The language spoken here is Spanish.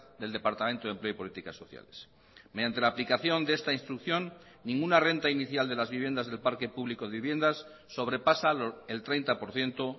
del departamento de empleo y políticas sociales mediante la aplicación de esta instrucción ninguna renta inicial de las viviendas del parque público de viviendas sobrepasa el treinta por ciento